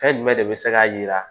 Fɛn jumɛn de bɛ se k'a jira